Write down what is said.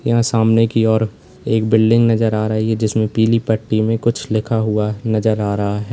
यहाँ सामने की ओर एक बिल्डिंग नजर आ रही है जिसमें पीली पट्टी में कुछ लिखा हुआ नजर आ रहा है।